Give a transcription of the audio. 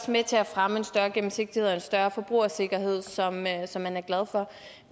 med til at fremme en større gennemsigtighed og en større forbrugersikkerhed som man som man er glad for